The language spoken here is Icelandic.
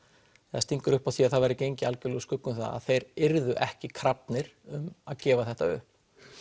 eða stingur upp á því að það verði gengið algjörlega úr skugga um það að þeir yrðu ekki krafnir um að gefa þetta upp